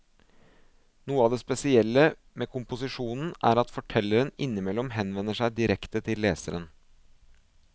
Noe av det spesielle med komposisjonen er at fortelleren innimellom henvender seg direkte til leseren.